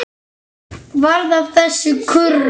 Varð af þessu kurr nokkur.